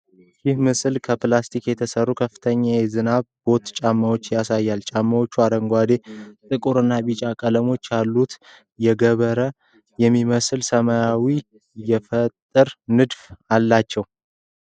ይህ ምስል ከ ፕላስቲክ የተሰሩ ከፍተኛ የዝናብ ቦት ጫማዎችን ያሳያል። ጫማዎቹ አረንጓዴ፣ ጥቁር እና ቢጫ ቀለሞች ያሉት የገበረ የሚመስል ስሜትን የሚፈጥር ንድፍ አላቸው።